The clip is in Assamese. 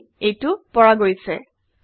হয় এইটো পৰা গৈছে